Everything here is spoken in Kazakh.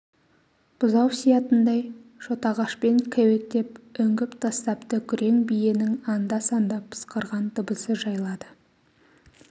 бұзау сиятындай шотағашпен кеуектеп үңгіп тастапты күрең биенің анда-санда пысқырған дыбысы жайлады